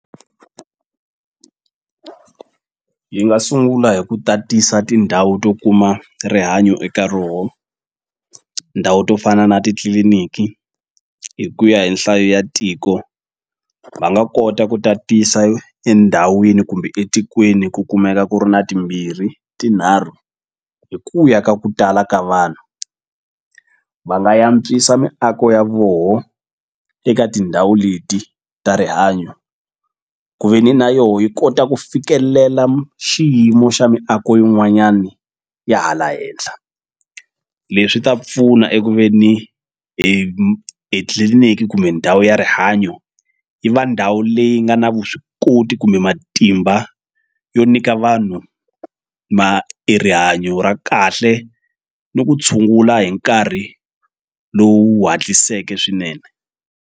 Yi nga sungula hi ku tatisa tindhawu to kuma rihanyo eka roho ndhawu to fana na titliliniki hi ku ya hi nhlayo ya tiko va nga kota ku tatisa endhawini kumbe etikweni ku kumeka ku ri na timbirhi tinharhu hi ku ya ka ku tala ka vanhu va nga yantswisa miako ya voho eka tindhawu leti ta rihanyo ku ve ni na yoho yi kota ku fikelela xiyimo xa miako yin'wanyani ya hala henhla leswi ta pfuna eku veni etliliniki kumbe ndhawu ya rihanyo yi va ndhawu leyi nga na vuswikoti kumbe matimba yo nyika vanhu e rihanyo ra kahle ni ku tshungula hi nkarhi lowu hatliseke swinene.